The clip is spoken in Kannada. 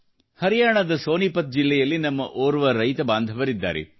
ಹರಿಯಾಣದ ಸೋನಿಪತ್ ಜಿಲ್ಲೆಯಲ್ಲಿ ನಮ್ಮ ಓರ್ವ ರೈತಬಾಂಧವರಿದ್ದಾರೆ